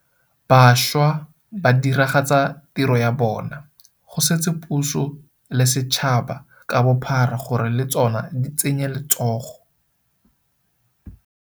Bašwa ba diragatsa tiro ya bona, go setse puso le setšhaba ka bophara gore le tsona di tsenye letsogo.